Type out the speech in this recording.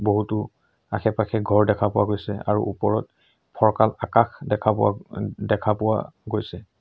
বহুতো আশে-পাশে ঘৰ দেখা পোৱা গৈছে আৰু ওপৰত ফৰকাল আকাশ দেখা পোৱা ওম দেখা পোৱা গৈছে।